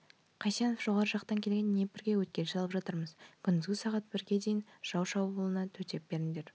қайсенов жоғарғы жақтан келген днепрге өткел салып жатырмыз күндізгі сағат бірге дейін жау шабылуына төтеп беріңдер